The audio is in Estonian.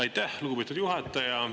Aitäh, lugupeetud juhataja!